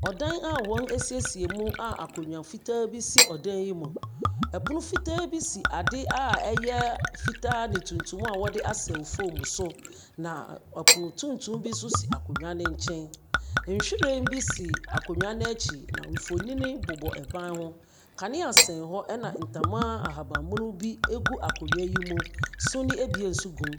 Ɔdan a wɔasiesie mu a akonnwa fitaa bi si ɔdan yi mu. Pono fitaa bi si ade a ɛyɛ fitaa ne tuntum a wɔde asɛw fam so, na ɔpono tuntum bi nso si akonnwa no nkyɛn. Nhwiren bi si akonnwa no akyi na mfonini bobɔ ban ho. Kanea sɛn hɔ ɛnna ntama ahaban mono bi gu akonnwa yi mu. Sumii ebien nso gum.